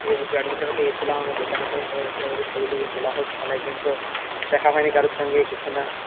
admission ও পেয়েছিলাম আমাদের mechanical এর সবাই এসেছিলো আমাদের ছবি টবি তোলা হোক অনেকদিন পর দেখা হয়নি কারো সঙ্গে কিছুনা